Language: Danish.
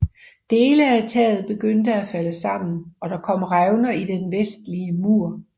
Dele af taget begyndte at falde sammen og der kom revner i den vestlige mur